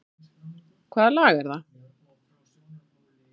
Hvaða lag er það?